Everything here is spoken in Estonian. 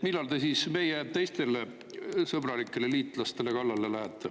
Millal te siis meie teistele sõbralikele liitlastele kallale lähete?